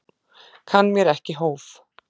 Kann mér ekki hóf.